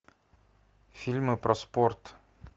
фильмы про спорт